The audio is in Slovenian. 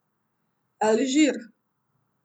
Alžir.